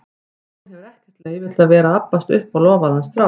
Hún hefur ekkert leyfi til að vera að abbast upp á lofaðan strák.